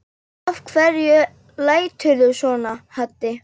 Af hverju læturðu svona Haddi?